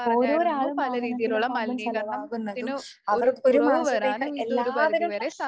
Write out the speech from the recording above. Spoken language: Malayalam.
ഓരോരാളും വാഹനത്തില് പോകുമ്പം ചെലവാകുന്നതും അവർക്കൊരു മാസത്തേക്ക് എല്ലാവരും